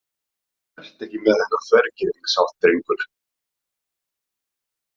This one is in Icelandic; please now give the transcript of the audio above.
Vertu ekki með þennan þvergirðingshátt, drengur.